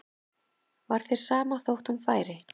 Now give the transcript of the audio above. Var þér sama þótt hún færi?